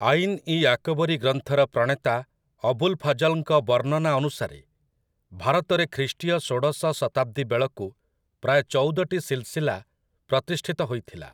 ଆଇନ୍ ଇ ଆକ୍‌ବରୀ ଗ୍ରନ୍ଥର ପ୍ରଣେତା ଅବୁଲ୍‌ଫାଜଲ୍‌ଙ୍କ ବର୍ଣ୍ଣନା ଅନୁସାରେ ଭାରତରେ ଖ୍ରୀଷ୍ଟୀୟ ଷୋଡ଼ଶ ଶତାବ୍ଦୀ ବେଳକୁ ପ୍ରାୟ ଚଉଦଟି ସିଲସିଲା ପ୍ରତିଷ୍ଠିତ ହୋଇଥିଲା ।